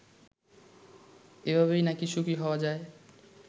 এভাবেই নাকি সুখী হওয়া যায়